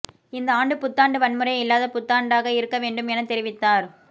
இந்த ஆண்டு புத்தாண்டு வன்முறை இல்லாத புத்தாண்டாக இருக்க வேண்டும் என தெரிவித்தார்